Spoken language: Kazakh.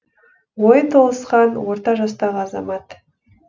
ойы толысқан орта жастағы азамат